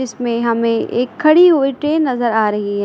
इसमें हमें एक खड़ी हुई ट्रेन नजर आ रही है।